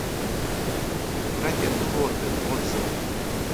братья пилоты отзывы